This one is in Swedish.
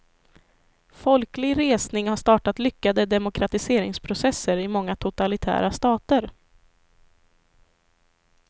Folklig resning har startat lyckade demokratiseringsprocesser i många totalitära stater.